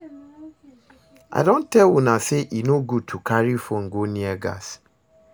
I don tell una say e no good to carry phone go near gas